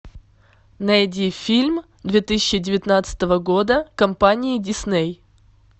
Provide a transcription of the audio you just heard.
найди фильм две тысячи девятнадцатого года компании дисней